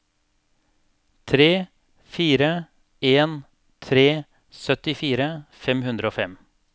tre fire en tre syttifire fem hundre og fem